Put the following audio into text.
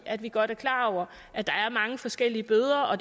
at vi godt er klar over at der er mange forskellige bøder og